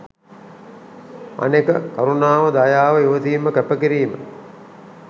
අනෙක කරුණාව දයාව ඉවසීම කැප කිරීම